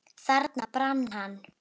Þarna brann hann.